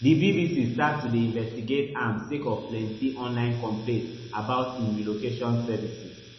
di bbc start to dey investigate am sake of plenti online complaints about im relocation services